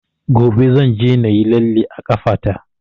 Gobe zan je na yi lalle a ƙafa ta